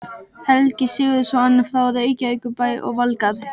Helgi Sigurðsson frá Reykjavíkurbæ og Valgarð